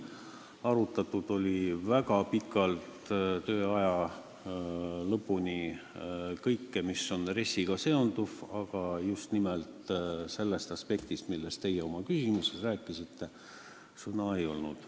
Arutati väga pikalt, tööaja lõpuni kõike, mis RES-iga seondub, aga just nimelt sellest aspektist, millest teie oma küsimuses rääkisite, kahjuks juttu ei olnud.